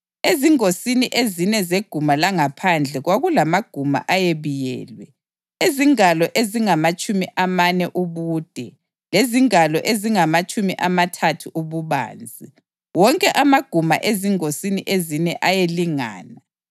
Ezingosini ezine zeguma langaphandle kwakulamaguma ayebiyelwe, ezingalo ezingamatshumi amane ubude lezingalo ezingamatshumi amathathu ububanzi; wonke amaguma ezingosini ezine ayelingana.